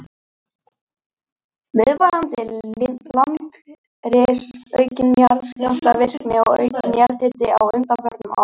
Viðvarandi landris, aukin jarðskjálftavirkni og aukinn jarðhiti á undanförnum árum.